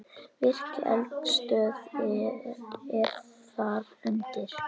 Virk eldstöð er þar undir.